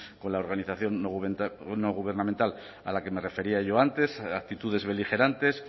con la organización no gubernamental a la que me refería yo antes actitudes beligerantes